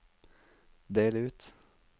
del ut